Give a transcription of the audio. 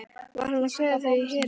Var hann að kveðja þau í herinn?